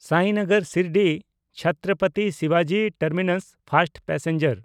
ᱥᱟᱭᱱᱚᱜᱚᱨ ᱥᱤᱨᱰᱤ-ᱪᱷᱛᱨᱚᱯᱚᱛᱤ ᱥᱤᱵᱟᱡᱤ terminus first passenger